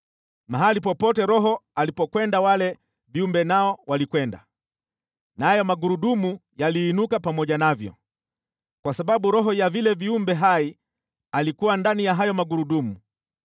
Mahali popote roho alipokwenda wale viumbe nao walikwenda, nayo magurudumu yaliinuka pamoja navyo, kwa sababu roho ya vile viumbe hai alikuwa ndani ya hayo magurudumu.